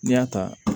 N'i y'a ta